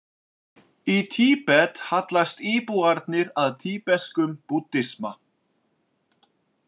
Í Tíbet hallast íbúarnir að tíbeskum búddisma.